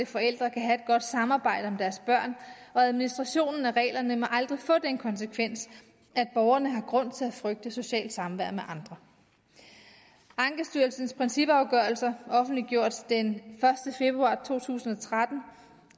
forældre kan have godt samarbejde om deres børn og administrationen af reglerne må aldrig få den konsekvens at borgerne har grund til at frygte socialt samvær med andre ankestyrelsens principafgørelser offentliggjort den første februar to tusind og tretten